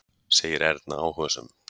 segir Erna áhugasöm.